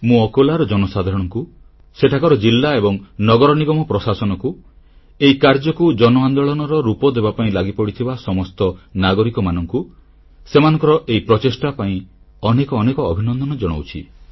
ମୁଁ ଅକୋଲାର ଜନସାଧାରଣଙ୍କୁ ସେଠାକାର ଜିଲ୍ଲା ଏବଂ ନଗର ନିଗମ ପ୍ରଶାସନକୁ ଏହି କାର୍ଯ୍ୟକୁ ଜନ ଆନ୍ଦୋଳନର ରୂପ ଦେବାପାଇଁ ଲାଗିପଡ଼ିଥିବା ସମସ୍ତ ନାଗରିକଙ୍କୁ ସେମାନଙ୍କର ଏହି ପ୍ରଚେଷ୍ଟା ପାଇଁ ଅନେକ ଅନେକ ଅଭିନନ୍ଦନ ଜଣାଉଛି